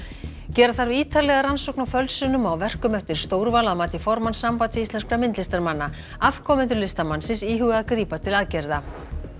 gera þarf ítarlega rannsókn á fölsunum á verkum eftir Stórval að mati formanns Sambands íslenskra myndlistarmanna afkomendur listamannsins íhuga að grípa til aðgerða